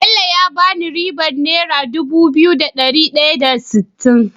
Bello ya bani ribar naira dubu biyu da dari daya da sittin